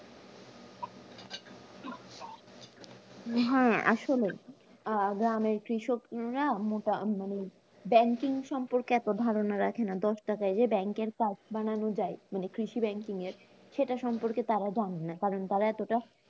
হ্যাঁ আসলেই আহ গ্রামের কৃষকরা মোটা মানে banking সম্পর্কে এত ধারনা রাখে না, দশটাকাই যে bank এর card বানানো যায় মানে কৃষি banking এর সেটা সম্পর্কে তারা জানেনা, কারন তার এতটা